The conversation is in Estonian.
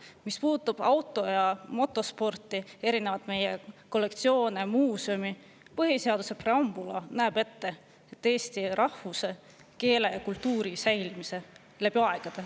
Mis puudutab auto‑ ja motosporti, erinevaid kollektsioone, muuseume: põhiseaduse preambula näeb ette eesti rahvuse, keele ja kultuuri säilimise läbi aegade.